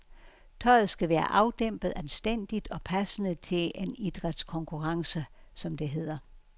Tøjet skal være afdæmpet, anstændigt og passende til en idrætskonkurrence, som det hedder.